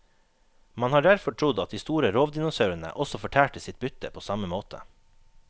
Man har derfor trodd at de store rovdinosaurene også fortærte sitt bytte på samme måte.